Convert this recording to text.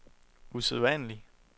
usædvanlig